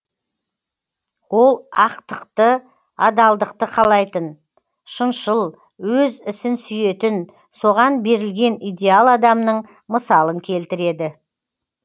ол ақтықды адалдықты қалайтын шыншыл өз ісін сүйетін соған берілген идеал адамның мысалын келтіреді